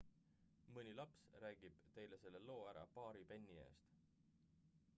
mõni laps räägib teile selle loo ära paari penni eest